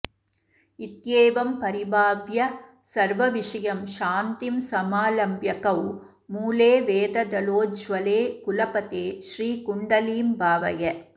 इत्येवं परिभाव्य सर्वविषयं शान्तिं समालम्ब्यकौ मूले वेददलोज्ज्वले कुलपथे श्रीकुण्डलीं भावय